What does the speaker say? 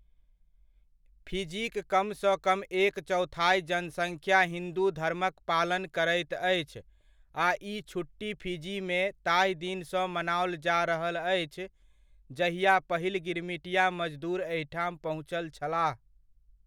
Physique कमसँ कम एक चौथाइ जनसङ्ख्या हिन्दू धर्मक पालन करैत अछि आ ई छुट्टी फिजीमे ताही दिनसँ मनाओल जा रहल अछि जहिआ पहिल गिरमिटिया मजदूर एहिठाम पहुँचल छलाह।